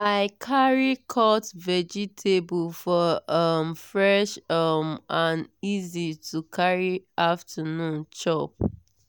i carry cut vegetable for um fresh um and easy to carry afternoon chop.